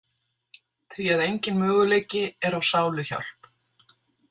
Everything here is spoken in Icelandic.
því að enginn möguleiki er á sáluhjálp.